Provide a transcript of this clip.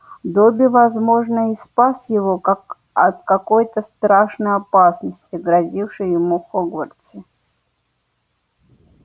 добби возможно и спас его как от какой-то страшной опасности грозившей ему в хогвартсе